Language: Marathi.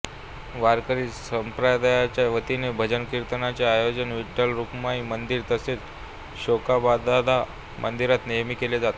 वारकरी संप्रदायाच्या वतीने भजन कीर्तनाचे आयोजन विठ्ठलरुक्मिणी मंदिर तसेच शेकोबादादा मंदिरात नेहमी केले जाते